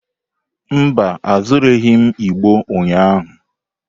Mba, azụrụghị m igbo ụnyahụ.